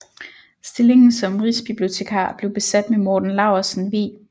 Stillingen som rigsbibliotekar blev besat med Morten Laursen Vig